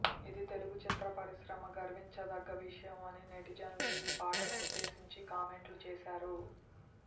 ఇది తెలుగు చిత్ర పరిశ్రమ గర్వించదగ్గ విషయమని నెటిజన్లు ఈ పాటను ఉద్దేశించి కామెంట్లు చేశారు